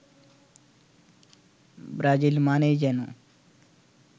Brazil মানেই যেন